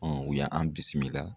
u y'an bisimilah.